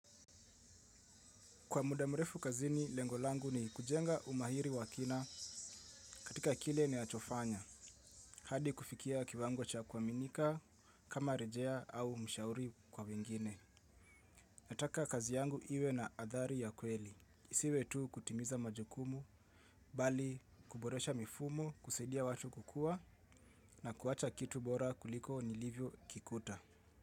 Kwa muda mrefu kazini, lengo langu ni kujenga umahiri wa kina katika kile ninachofanya. Hadi kufikia kiwango cha kuaminika, kama rejea au mshauri kwa wengine. Nataka kazi yangu iwe na athari ya kweli. Isiwe tu kutimiza majukumu, bali kuboresha mifumo, kusaidia watu kukua na kuwacha kitu bora kuliko nilivyokikuta.